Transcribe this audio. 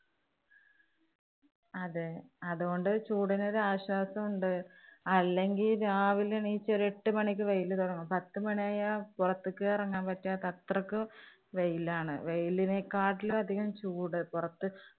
അതേ, അതോണ്ട് ചൂടിനൊരു ആശ്വാസം ഉണ്ട്. അല്ലെങ്കി രാവിലെ എണ്ണീറ്റ് ഒരു എട്ട് മണിക്ക് വെയില് തുടങ്ങും. പത്തുമണിയായ പൊറത്തേക്ക് ഇറങ്ങാന്‍ പറ്റാത്ത അത്രയ്ക്ക് വെയിലാണ്. വെയിലിനെക്കാട്ടിലും അധികം ചൂട് പൊറത്ത്